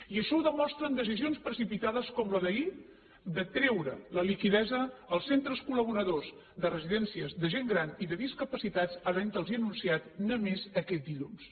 i això ho demostren decisions precipitades com la d’ahir de treure la liquiditat als centres col·laboradors de residències de gent gran i de discapacitats haventlos ho anunciat només aquest dilluns